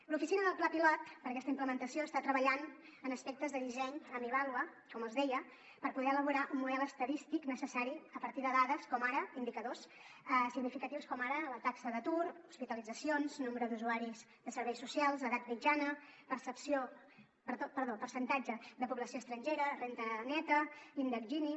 l’oficina del pla pilot per a aquesta implementació està treballant en aspectes de disseny amb ivàlua com els deia per poder elaborar un model estadístic necessari a partir de dades com ara indicadors significatius com ara la taxa d’atur hospitalitzacions nombre d’usuaris de serveis socials edat mitjana percentatge de població estrangera renda neta índex gini